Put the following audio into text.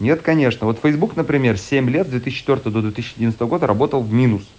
нет конечно вот фэйсбук например семь лет с две тысячи четвёртого до две тысячи одиннадцатого года работал в минус